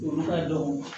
Olu ka dɔn